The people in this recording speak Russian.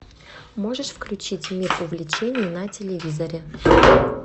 можешь включить мир увлечений на телевизоре